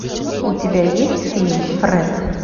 у тебя есть фильм фред